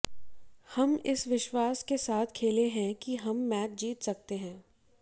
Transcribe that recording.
हम इस विश्वास के साथ खेलें है कि हम मैच जीत सकते हैं